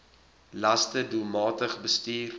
laste doelmatig bestuur